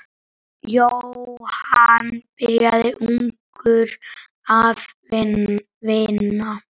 Jóhann byrjaði ungur að vinna.